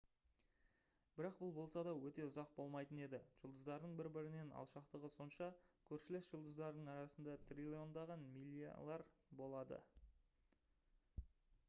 бірақ бұл болса да өте ұзақ болмайтын еді. жұлдыздардың бір бірінен алшақтығы сонша «көршілес» жұлдыздардың арасында триллиондаған милялар болады